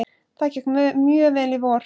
Það gekk mjög vel í vor.